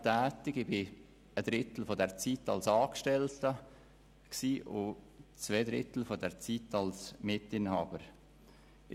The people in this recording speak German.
Ich war ein Drittel dieser Zeit als Angestellter und zwei Drittel als Mitinhaber tätig.